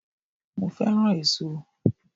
Mo fẹ́ràn èso